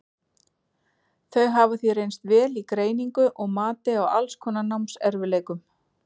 Þau hafa því reynst vel í greiningu og mati á alls konar námserfiðleikum.